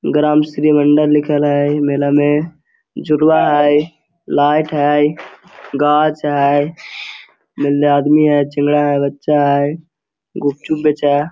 ग्राम श्री मंडल लिखल है मेला में झुलवा है लाइट है गाछ है आदमी है बच्चा है गुपचुप बेचा --